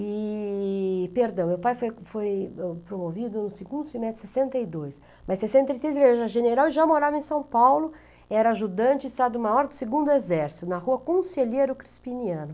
E... perdão, meu pai foi foi promovido no segundo semestre de sessenta e dois, mas sessenta e três, ele era general e já morava em São Paulo, era ajudante e estado-maior do segundo exército, na rua Conselheiro Crispiniano.